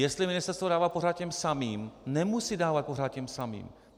Jestli ministerstvo dává pořád těm samým, nemusí dávat pořád těm samým.